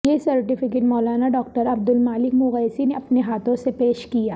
یہ سرٹیفیکیٹ مولانا ڈاکٹر عبد المالک مغیثی نے اپنے ہاتھوں سے پیش کیا